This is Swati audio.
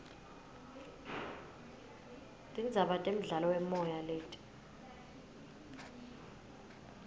tindzaba temdlalowemoy leti